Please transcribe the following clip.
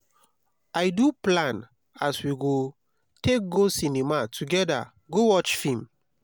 i don plan as we go take go cinema togeda go watch film.